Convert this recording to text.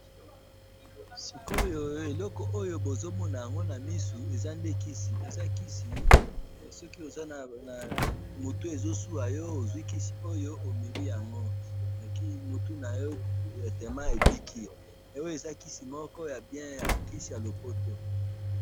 Siko oyo eloko oyo bozomona ango na misu eza nde kisi ,eza kisi soki oza na ,mutu ezosua yo ozui koso yango omeli yango .mutu nayo directement ebiki oyo eza kisi ya bien ,kisi ya lopoto